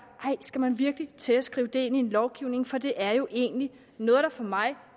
skal man virkelig til at skrive det ind i en lovgivning for det er jo egentlig noget der for mig